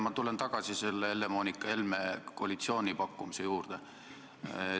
Ma tulen tagasi Helle-Moonika Helme mainitud koalitsiooni pakkumise juurde.